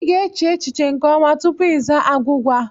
I ga-eche echiche nke ọma tupu izaa agwụgwa.